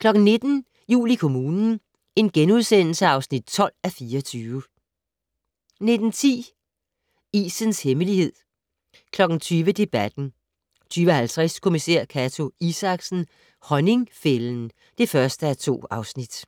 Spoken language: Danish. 19:00: Jul i kommunen (12:24)* 19:10: Isens hemmelighed 20:00: Debatten 20:50: Kommissær Cato Isaksen: Honningfælden (1:2)